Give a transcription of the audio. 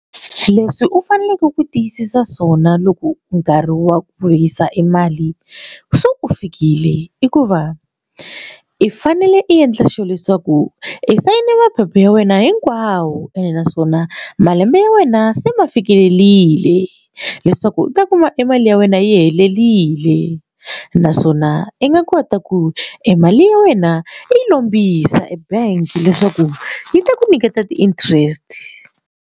Leswi u faneleke ku tiyisisa swona loko nkarhi wa ku yisa e mali se u fikile i ku va i fanele i endla sure leswaku i sayine maphepha ya wena hinkwawo ene naswona malembe ya wena se ma fikelelile leswaku u ta kuma e mali ya wena yi helelile naswona i nga kota ku e mali ya wena i yi lombisa ebank leswaku yi ta ku nyiketa ti interest.